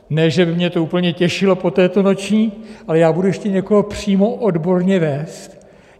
Ne, že by mě to úplně těšilo po této noční, ale já budu ještě někoho přímo odborně vést?